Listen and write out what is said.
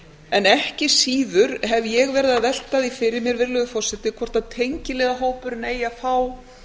en ekki síður hef ég verið að velta því fyrir mér virðulegur forseti hvort tengiliðahópurinn eigi að fá